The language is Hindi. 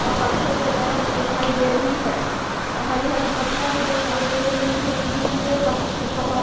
और पत्थरे वगैरा भी दिखाई दे रही है। हरी-हरी पत्तियां भी दिखाई दे रही है। दूर रे पत पहाड़ --